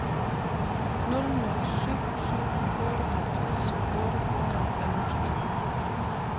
nul nul syv syv otteoghalvtreds otte hundrede og femogtyve